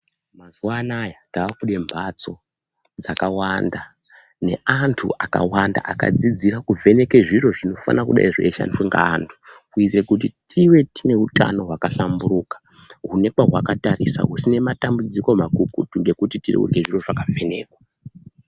Mazuwanaya takude mbatso dzakawanda neantu akawanda akadzidzire kuvheneka zviro zvinofanira kudai zveishandiswa ngeantu kuite kuti tive tine utano hwakahlamburuka hune pahwakatarisa husine matambudziko makukutu ngekuti tirikude zviro zvakavhenekwa.